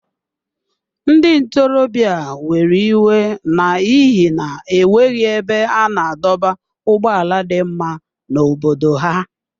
Ndị ntorobịa a were iwe n’ihi na e nweghị ebe a na-adọba ụgbọala dị mma n’obodo ha.